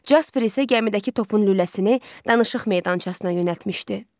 Jasper isə gəmidəki topun lüləsini danışıq meydançasına yönəltmişdi.